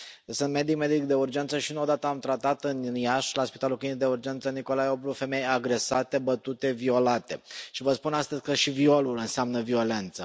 Sunt medic de urgență și nu o dată am tratat în Iași la spitalul Clinic de Urgență Nicolae Oblu femei agresate, bătute, violate și vă spun astăzi că și violul înseamnă violență.